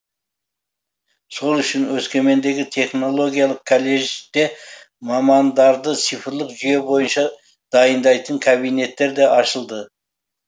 сол үшін өскемендегі технологиялық каллежде мамандарды цифрлық жүйе бойынша дайындайтын кабинеттер де ашылды